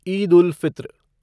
Eid ul Fitr